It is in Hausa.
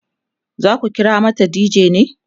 zaku kira mata dj ne?